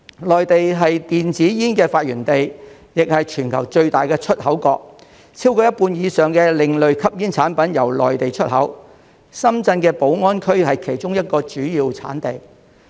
內地是電子煙的發源地，也是全球最大的出口國，超過一半以上的另類吸煙產品由內地出口，深圳的寶安區是其中一個主要產地。